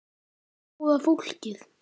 Góða fólkið.